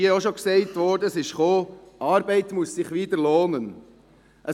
Es wurde hier auch schon gesagt, es sei dazu gekommen, weil Arbeit sich wieder lohnen müsse.